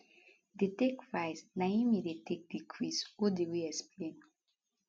dey take rise na im e dey take decrease odiri explain